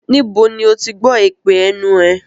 Níbo ni ó ti gbọ́ èpè ẹnu ẹ?